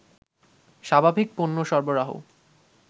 স্বাভাবিক পণ্য সরবরাহ